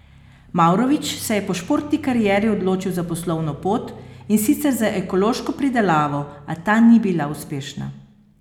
Mavrović se je po športni karieri odločil za poslovno pot, in sicer za ekološko pridelavo, a ta ni bila uspešna.